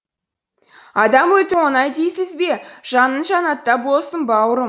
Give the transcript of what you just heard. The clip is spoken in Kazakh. адам өлтіру оңай дейсіз бе жаның жәннәтта болсын бауырым